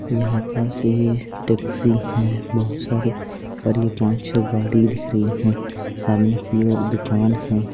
यहा पर टैक्सी है बहुत सारी और ये पाँच छै गाड़ी दिख रही है सामने की ओर दुकान है।